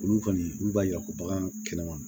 Olu kɔni olu b'a yira ko bagan kɛnɛma